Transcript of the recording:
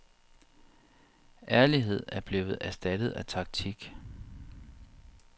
Ærlighed er blevet erstattet af taktik.